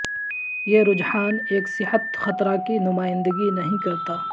یہ رجحان ایک صحت خطرہ کی نمائندگی نہیں کرتا